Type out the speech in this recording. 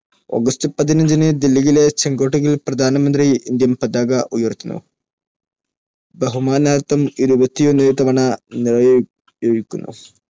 August പതിനഞ്ചിന്‌ ദില്ലിയിലെ ചെങ്കോട്ടയിൽ പ്രധാനമന്ത്രി ഇന്ത്യൻ പതാക ഉയർത്തുന്നു. ബഹുമാനാർത്ഥം ഇരുപത്തിയൊന്ന് തവണ നിറയൊഴിക്കുന്നു.